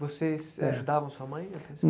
Vocês É ajudavam a sua mãe na?